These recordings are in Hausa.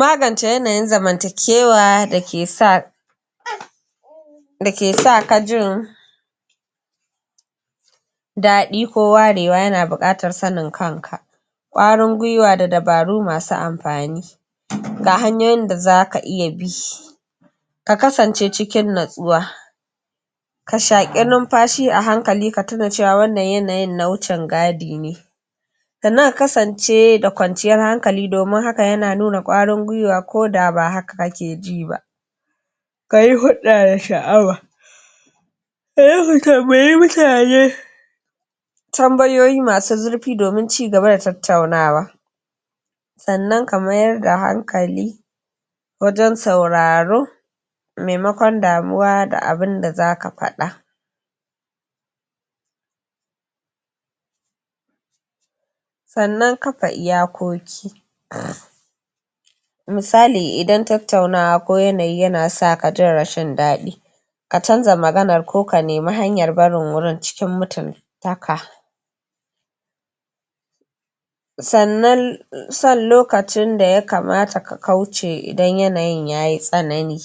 magance yanayin zamantakewa da ke sa da ke sa ka jin daɗi ko warewa yana buƙatar sanin kanka ƙwarin gwiwa da dabaru masu amfani ga hanyoyin da zaka iya bi ka kasance cikin natsuwa ka shaƙi numfashi a hankali ka tuna cewa wannan yanayin na wucin gadi ne sannan ka kasance da kwanciyar hankali domin haka yana nuna ƙwarin gwiwa ko da ba haka kake ji ba kayi hulɗa da sha'awa ka mutane tambayoyi masu zurfi domin cigaba da tattaunawa sannan ka mayar da hankali wajen sauraro maimakon damuwa da abinda zaka faɗa sannan kafa iyakoki misali idan tattaunawa ko yanayi yana sa ka jin rashin daɗi ka canja maganar ko ka nemi hanyar barin wurin cikin mutuntaka sannan sanin lokacin da ya kamata ka kauce idan yanayin yayi tsanani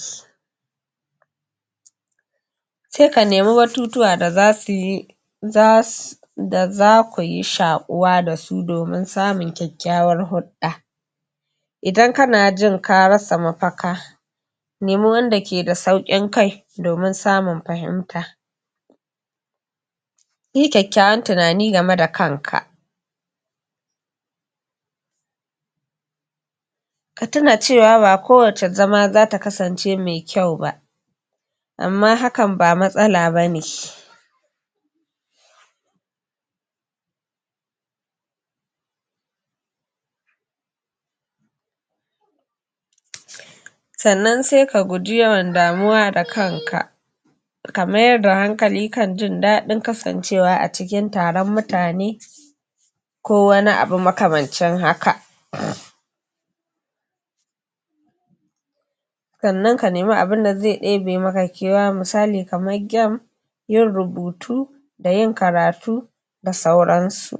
se ka nemi batutuwa da zasu yi zasu da zakuyi shaƙuwa da su domin samun kyakkyawar hulɗa idan kana jin ka rasa mafaka nemo wanda ke da sauƙin kai domin samun fahimta yi kyakkyawan tunani game da kanka ka tuna cewa ba kowace zama zata kasance me kyau ba amma hakan ba matsala bane sannan se ka guji yawan damuwa da kanka ka mayar da hankali kan jin daɗin kasancewa a cikin taron mutane ko wani abu makamancin haka sannan ka nemi abinda ze ɗebe maka kewa misali kamar game yin rubutu da yin karatu da sauran su